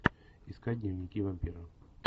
искать дневники вампира